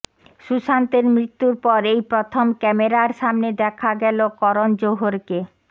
সুশান্তের মৃত্যুর পর এই প্রথম ক্যামেরার সামনে দেখা গেল করণ জোহরকে